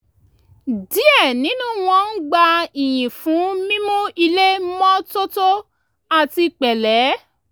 díẹ̀ nínú wọn ń gba iyìn fún mímu ilé mọ́tótó àti pẹ̀lẹ